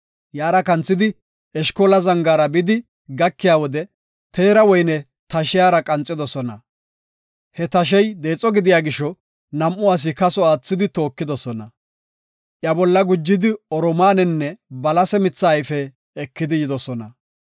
Yaara kanthidi, Eshkola Zangaara bidi gakiya wode teera woyne tashiyara qanxidosona. He tashey deexo gidiya gisho nam7u asi kaso aathidi tookidosona. Iya bolla gujidi oromaanenne balase mithaa ayfe ekidi yidosona.